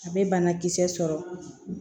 A bɛ banakisɛ sɔrɔ